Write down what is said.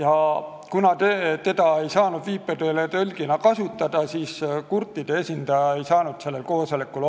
Aga kuna teda ei saanud viipekeeletõlgina kasutada, siis kurtide esindaja ei osalenud sellel koosolekul.